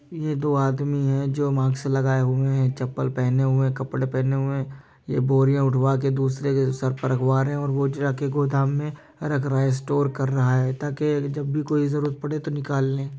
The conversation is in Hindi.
ये दो आदमी है जो मास्क लगाए हुए हैं चप्पल पहने हुए हैं कपड़े पहने हुए हैं। ये बोरिया उठ्वाके दूसरे के सर पर रखवा रहे हैं और वो जाके गोदाम में रख रहा है। स्टोर कर रहा है ताकि जब भी कोई जरुरत पड़े तो निकाल ले।